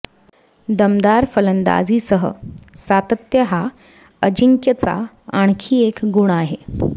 दमदार फलंदाजीसह सातत्य हा अजिंक्यचा आणखी एक गुण आहे